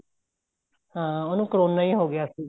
ਹਾਂ ਉਹਨੂੰ ਕਰੋਨਾ ਹੀ ਹੋਗਿਆ ਸੀ